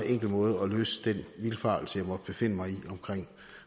enkel måde at løse den vildfarelse jeg måtte befinde mig i omkring